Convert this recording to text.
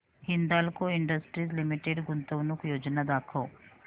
Hindalco industries limited गुंतवणूक योजना दाखव